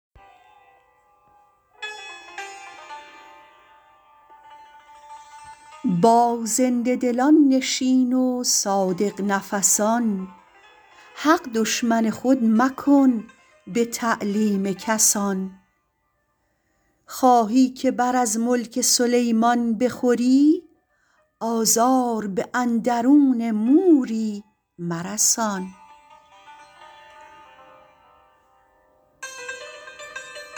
با زنده دلان نشین و صادق نفسان حق دشمن خود مکن به تعلیم کسان خواهی که بر از ملک سلیمان بخوری آزار به اندرون موری مرسان